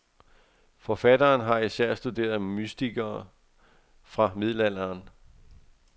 Forfatteren har især studeret mystikere fra middelalderen.